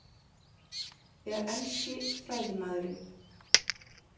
Þegar enski fræðimaðurinn